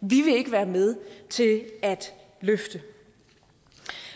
vi vil ikke være med til at løfte